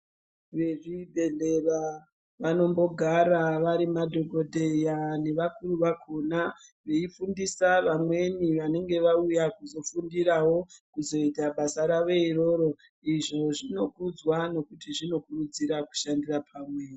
Vezvibhedhleya vanombogara vari madhogodheya nevakuru vakona veifundisa vamweni vanenge vauya kuzofundiravo kuzoita basa ravo iroro. Izvo zvinokudzwa nekuti zvinokurudzira kushandira pamwe.